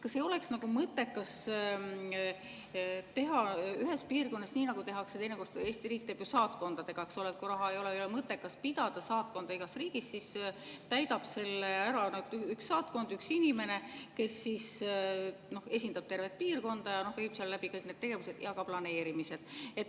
Kas ei oleks mõttekas teha ühes piirkonnas nii, nagu teinekord Eesti riik teeb saatkondadega, eks ole, et kui raha ei ole, siis ei ole mõttekas pidada saatkonda igas riigis ja selle täidab ära üks saatkond, üks inimene, kes esindab tervet piirkonda ja viib seal läbi kõik tegevused ja planeerimised.